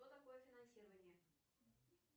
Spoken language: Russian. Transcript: что такое финансирование